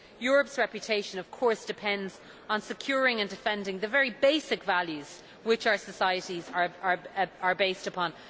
Europe's reputation, of course, depends on securing and defending the very basic values which our societies are based upon.